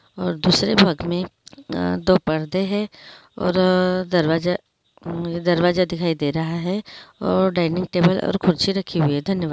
और दूसरे भाग में अ-दो परदे हैं और दरवाजा दरवाजा दिखाई दे रहा है और डाइनिंगटेबल और कुर्सी रखी हुई है धन्यवाद।